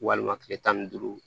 Walima kile tan ni duuru